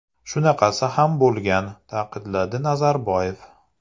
Shunaqasi ham bo‘lgan”, ta’kidladi Nazarboyev.